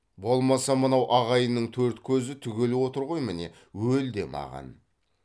болмаса мынау ағайынның төрт көзі түгел отыр ғой міне өл де маған